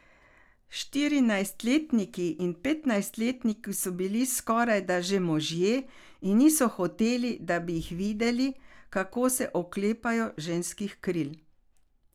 Štirinajstletniki in petnajstletniki so bili skorajda že možje in niso hoteli, da bi jih videli, kako se oklepajo ženskih kril.